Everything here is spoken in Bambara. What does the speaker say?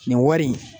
Nin wari in